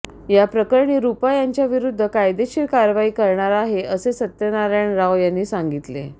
याप्रकरणी रूपा यांच्याविरुद्ध कायदेशीर कारवाई करणार आहे असे सत्यनारायण राव यांनी सांगितले